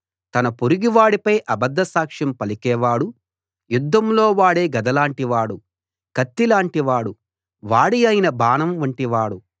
తన పొరుగువాడిపై అబద్ధ సాక్ష్యం పలికేవాడు యుద్ధంలో వాడే గదలాంటి వాడు కత్తిలాంటి వాడు వాడియైన బాణం వంటివాడు